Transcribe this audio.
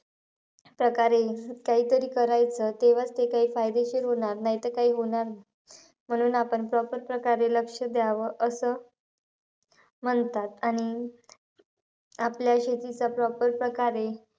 प्रकारे काहीतरी करायचं. तेव्हाचं ते काही फायदेशीर होणार. नाहीतर काही होणार नाही. म्हणून आपण proper प्रकारे लक्ष द्यावं, असं म्हणतात. आणि आपल्या शेतीचा proper प्रकारे,